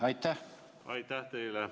Aitäh teile!